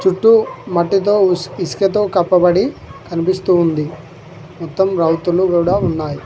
చుట్టూ మట్టితో ఇస్క్ ఇసుకతో కప్పబడి కనిపిస్తూ ఉంది మొత్తం రౌతులు గూడ ఉన్నాయ్.